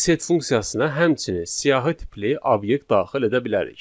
Biz set funksiyasına həmçinin siyahı tipli obyekt daxil edə bilərik.